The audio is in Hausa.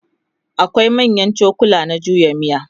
akwai manyan cokula na juya miya